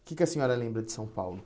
O que que a senhora lembra de São Paulo?